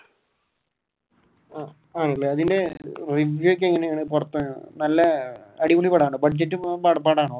ആണല്ലേ പിന്നെ ഒക്കെ എങ്ങനെയാ? നല്ല അടിപൊളി പടമാണോ budget